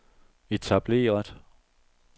etableret